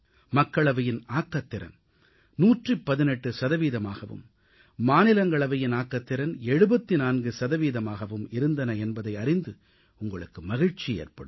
மக்களவையின் ஆக்கத்திறன் 118 சதவீதமாகவும் மாநிலங்களவையின் ஆக்கத்திறன் 74 சதவீதமாகவும் இருந்தன என்பதை அறிந்து உங்களுக்கு மகிழ்ச்சி ஏற்படும்